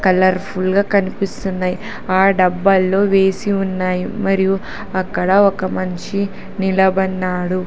Colour full గా కనిపిస్తున్నాయి ఆ డబ్బాలో వేసి ఉన్నాయి మరియు అక్కడ ఒక మనిషి నిలబడినాడు.